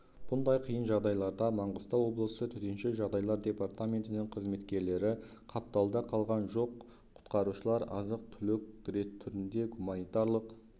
бұндай қиын жағдайларда маңғыстау облысы төтенше жағдайлар департаментінің қызметкерлері қапталда қалған жоқ құтқарушылар азық-түлік түрінде гуманитарлық